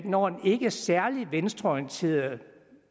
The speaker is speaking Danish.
når en ikke særlig venstreorienteret